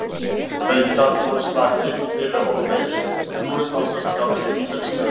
Haukar voru slakir í fyrri hálfleik en voru talsvert skárri í þeim síðari.